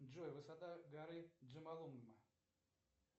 джой высота горы джомолунгма